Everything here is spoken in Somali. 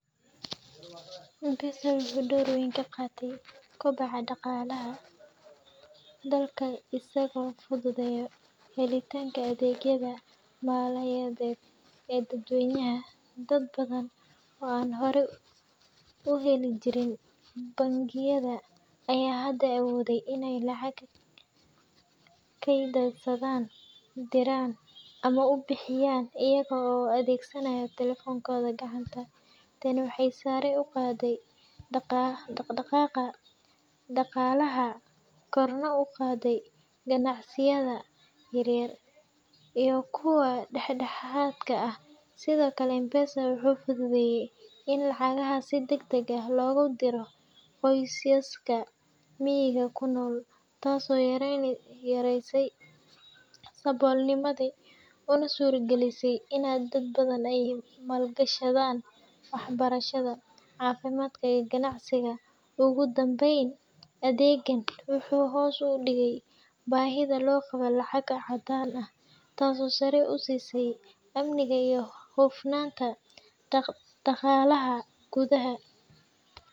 M-Pesa wuxuu door weyn ka qaatay kobaca dhaqaalaha dalka isagoo fududeeyay helitaanka adeegyada maaliyadeed ee dadweynaha. Dad badan oo aan hore u heli jirin bangiyada ayaa hadda awooday in ay lacag kaydsadaan, diraan, ama ku bixiyaan iyaga oo adeegsanaya taleefankooda gacanta. Tani waxay sare u qaaday dhaqdhaqaaqa dhaqaalaha, korna u qaadday ganacsiyada yaryar iyo kuwa dhexdhexaadka ah. Sidoo kale, M-Pesa wuxuu fududeeyay in lacagaha si degdeg ah loogu diro qoysaska miyiga ku nool, taasoo yaraysay saboolnimada una suuragelisay in dad badan ay maalgashadaan waxbarashada, caafimaadka, iyo ganacsiga. Ugu dambeyn, adeeggan wuxuu hoos u dhigay baahida loo qabo lacag caddaan ah, taasoo sare u siisay amniga iyo hufnaanta dhaqaalaha gudaha.